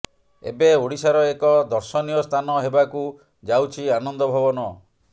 ଏବେ ଓଡ଼ିଶାର ଏକ ଦର୍ଶନୀୟ ସ୍ଥାନ ହେବାକୁ ଯାଉଛି ଆନନ୍ଦ ଭବନ